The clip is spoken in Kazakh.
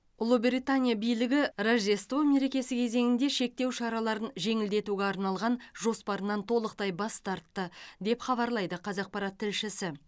ұлыбритания билігі рождество мерекесі кезеңінде шектеу шараларын жеңілдетуге арналған жоспарынан толықтай бас тартты деп хабарлайды қазақпарат тілшісі